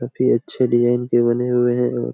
काफी अच्छे डिजाइन के बने हुए हैं। और --